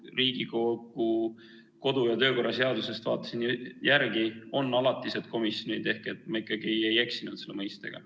Riigikogu kodu- ja töökorra seadusest vaatasin järele – on alatised komisjonid ehk ma ikkagi ei eksinud selle mõistega.